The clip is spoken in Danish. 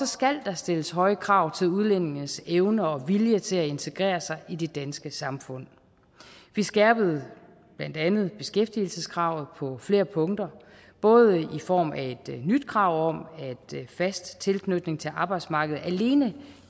skal der stilles høje krav til udlændinges evne og vilje til at integrere sig i det danske samfund vi skærpede blandt andet beskæftigelseskravet på flere punkter både i form af et nyt krav om at fast tilknytning til arbejdsmarkedet alene